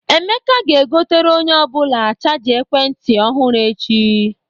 Emeka ga-egotere onye ọ bụla chaja ekwent ntị ọhụrụ echi.